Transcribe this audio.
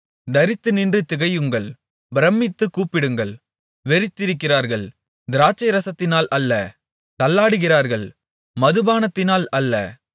தரித்துநின்று திகையுங்கள் பிரமித்துக் கூப்பிடுங்கள் வெறித்திருக்கிறார்கள் திராட்சைரசத்தினால் அல்ல தள்ளாடுகிறார்கள் மதுபானத்தினால் அல்ல